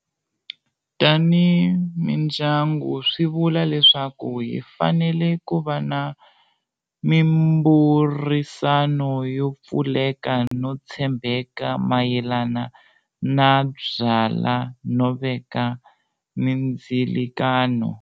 Tanihi mindyangu swi vula leswaku hi fanele ku va na mimbhurisano yo pfuleka no tshembeka mayelana na byala no veka mindzilikano.